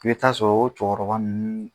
I be taa'a sɔrɔ o cɛkɔrɔba nn